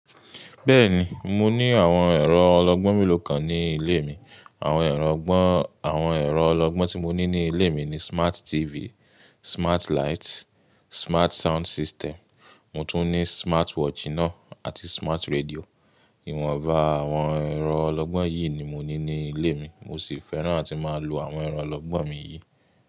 Bẹ́ẹ̀ni, mo ní àwọn ẹ̀rọ ọlọ́gbọ́n mélòó kan ní ilé mi. Àwọn ẹ̀rọ ọlọ́gbọ́n, àwọn ẹ̀rọ ọlọ́gbọ́n tí mo ní ní ilé mi ni smart TV, smart light, smart sound system, mo tún ní smart watch náa àti smart radio. Ìwọ̀nba àwọn ẹ̀rọ ọlọ́gbọ́n yìí ni mo ní ní ilé mi, mo sì fẹ́ràn àti máa lo àwọn ẹ̀rọ ọlọ́gbọ́n mi yìí.